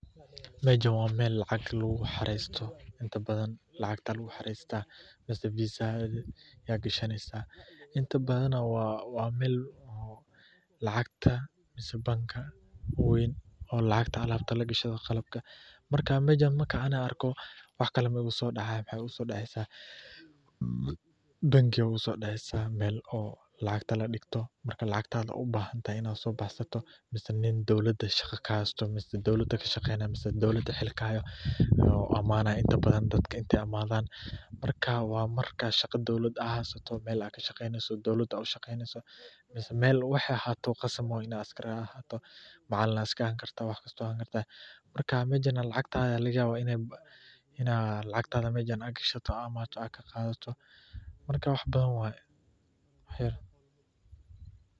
Mashan wa mal lacag lagu xarstoh inta baadan lacagta lagu xarstah masah visa hada gashanisah inta bahan lacagta masah banka waan oo lacagta alabta lagashto qalabka marka mashan marka argo waxkle iguma sodacan wax igu sodacaysah, banki aya igu sodacsah mal oo lacagta la digtoh marka lacagtada ubahantahay ina sobahstoh masah nin dowlada shaqa ka hastoh masah dowlada ka shaqaynayo masah dowlada xirkahayo imanayo inta baadan dadka inta imadan marka wa marka shaqada dowlad ad hasoh mal ad ka shaqaynasoh dowlad ad u shaqynasoh masah mal aya ahatoh qasab asar ad ahatoh ama macalin aya iska ahani kartah wax kasto ad ahani kartah marka mashan lacagtada, ina lacagtada mashan ad ka shato ama ad ka qadatoh marka wax baadan waye.